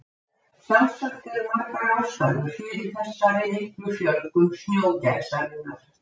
sjálfsagt eru margar ástæður fyrir þessari miklu fjölgun snjógæsarinnar